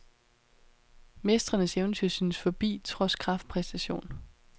Mestrenes eventyr synes forbi trods kraftpræstation.